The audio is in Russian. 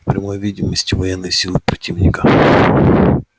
в прямой видимости военной силы противника